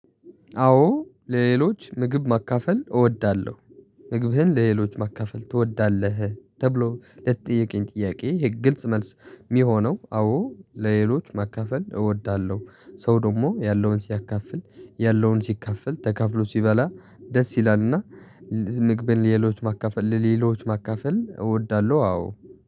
አዎ ለሌሎች ምግብ ማካፈል እወዳለሁ። ምግብህን ለሌሎች ማካፈል ትወዳለህ ተብሎ ለተጠየቀኝ ጥያቄ ይሄ ግልጽ መልስ ሚሆነው አዎ ለሌሎች ማካፈል እወዳለሁ። ሰው ደግሞ ያለውን ሲያካፍል ያለውን ሲካፈል ተካፍሎ ሲበላ ደስ ይላል እና። ምግብን ለሌሎች ማካፈል ለሌሎች ማካፈል እወዳለሁ አዎ